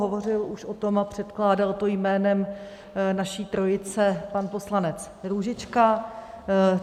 Hovořil už o tom a předkládal to jménem naší trojice pan poslanec Růžička.